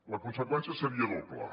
la conseqüència seria doble